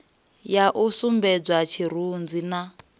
ya u sumbedzwa tshirunzi na